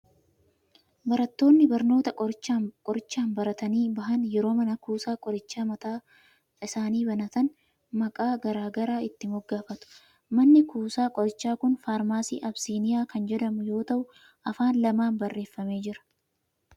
Barattoonni barnoota qorichaan baratanii bahan yeroo mana kuusaa qorichaa mataa isaanii banatan, maqaa garaa garaa itti moggaafatu. Manni kuusaa qorichaa kun Faarmaasii Abisiiniyaa kan jedhamu yoo ta'u, afaan lamaan barreeffamee jira.